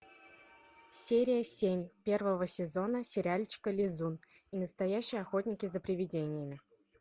серия семь первого сезона сериальчика лизун и настоящие охотники за привидениями